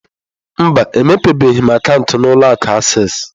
Mba, emepebeghị m akaụntụ na ụlọ akụ acesịị.